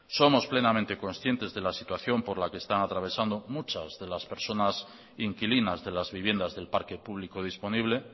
somos plenamente conscientes de la situación por la que están atravesando muchas de las personas inquilinas de las viviendas del parque público disponible